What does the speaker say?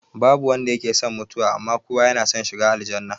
Babu wanda yake son mutuwa, amma kowa yana son shiga aljannah